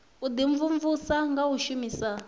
u imvumvusa nga u shumisa